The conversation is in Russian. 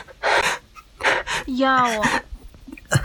яо